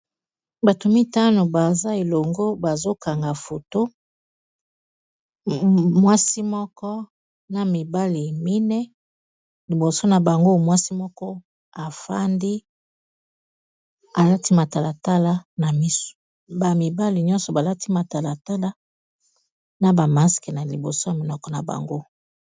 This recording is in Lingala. Bato mitano baza elongo bazokanga foto mwasi moko na mibali mineyi liboso na bango mwasi moko afandi alati matala tala na misu ba mibali nyonso balati matala tala na ba masque na liboso na munoko na bango.